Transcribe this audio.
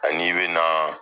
A n'i bɛna